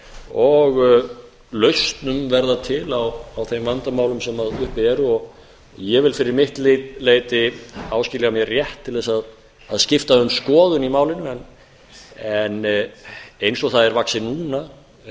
og lausnum verða til á þeim vandamálum sem uppi eru og ég vil fyrir mitt leyti áskilja mér rétt til að skipta um skoðun í málinu en eins og það er vaxið núna er